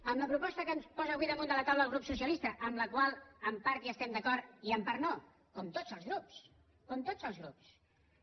amb la proposta que ens posa avui damunt de la taula el grup socialista amb la qual en part estem d’acord i en part no com tots els grups com tots els grups